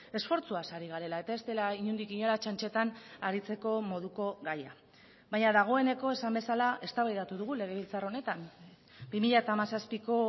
esfortzuaz ari garela eta ez dela inondik inora txantxetan aritzeko moduko gaia baina dagoeneko esan bezala eztabaidatu dugu legebiltzar honetan bi mila hamazazpiko